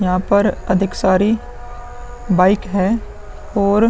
यहाँ पर अधिक सारी बाइक हैं और --